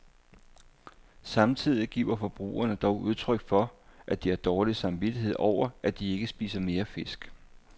Samtidig giver forbrugerne dog udtryk for, at de har dårlig samvittighed over, at de ikke spiser mere fisk.